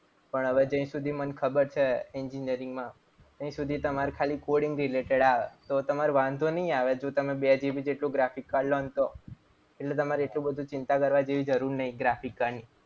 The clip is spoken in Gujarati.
પણ હવે જય સુધી મને ખબર છે. engineering માં ત્યાં સુધી તમારે ખાલી coding related આવે. તો તમારે વાંધો નહીં આવે જો તમે બે GB જેટલું graphic card લો ને તો. એટલે તમારે એટલું બધું ચિંતા કરવાની જરૂર નહીં graphic card ની.